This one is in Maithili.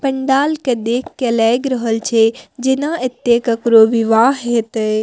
पंडाल के देख के लायग रहल छे जेना ऐत्ते केकरो विवाह हेतय।